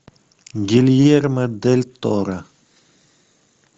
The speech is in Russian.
гильермо дель торо